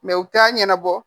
u t'a ɲɛnabɔ